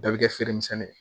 Bɛɛ bɛ kɛ feere misɛnnin ye